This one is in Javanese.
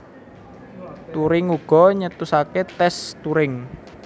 Turing uga nyetusaké tès Turing